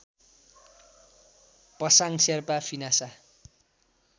Pasang Sherpa फिनासा